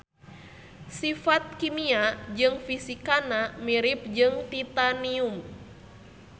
Sifat kimia jeung fisikana mirip jeung titanium.